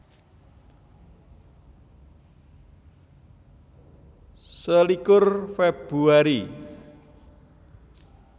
Selikur Februari